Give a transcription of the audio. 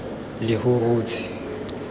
lehurutshe